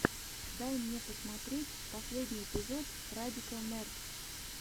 дай мне посмотреть последний эпизод радикал нердс